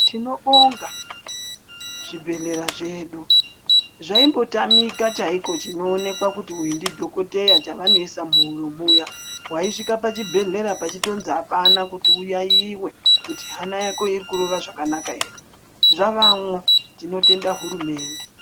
Tinobonga zvibhedhlera zvedu zvaimbotamika chaiko chinoonekwa kuti uyu ndidhokoteya chavanoisa muhuro muya. Vaisvika pachibhedhlera pachitonzi hapana kuti uyaiyiye kuti hana yako iri kurova zvakanaka ere, zvavamwo tinotenda hurumende.